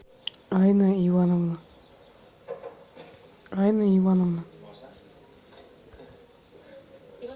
айна ивановна айна ивановна